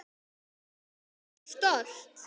Ég var svo stolt.